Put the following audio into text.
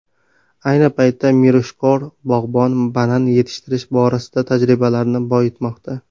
Ayni paytda mirishkor bog‘bon banan yetishtirish borasidagi tajribalarini boyitmoqda.